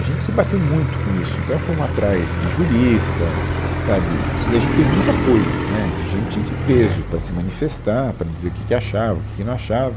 A gente se bateu muito com isso, então fomos atrás de jurista, sabe, e a gente teve muito apoio, né, de gente de peso para se manifestar, para dizer o que que achava, o que que não achava.